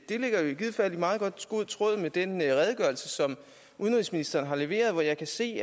det ligger jo i givet fald i meget god tråd med den redegørelse som udenrigsministeren har leveret hvor jeg kan se